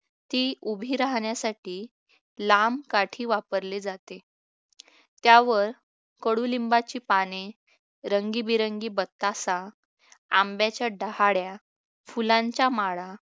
ती उभी राहण्यासाठी लांब काठी वापरली जाते त्यावर कडुलिंबाची पाने रंगीबिरंगी बत्ताशा आंब्याच्या डहाळ्या फुलांच्या माळा